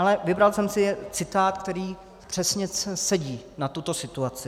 Ale vybral jsem si citát, který přesně sedí na tuto situaci.